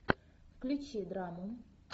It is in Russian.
включи драму